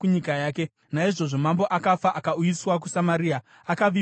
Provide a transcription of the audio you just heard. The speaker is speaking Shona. Naizvozvo mambo akafa, akauyiswa kuSamaria, akavigwa ikoko.